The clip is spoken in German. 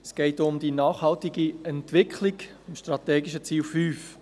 Es geht um die nachhaltige Entwicklung, um das strategische Ziel 5.